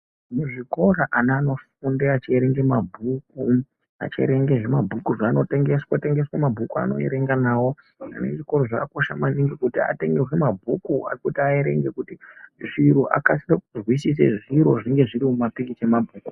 Muzvikora ana anofunda achierenga mabhuku achierenga zvinabhuku zvanotengeswa tengeswa mabhuku aanoerenga nawo zviriko zvakakosha maningi kuti atengerwe zvinabhuku ekuti aerenge kuti zviro akasike kuzwisisa zviro zvinenge zviri mumapikicha emabhuku.